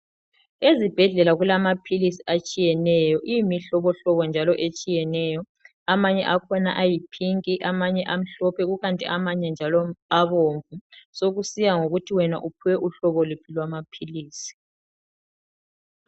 Ezibhedlela kulamaphilisi atshiyeneyo, imihlobohlobo njalo etshiyeneyo, amanye akhona ayi pink amanye amhlophe kukanti amanye njalo abomvu sokusiya ngokuthi wena uphiwe uhlobo luphi lamaphilisi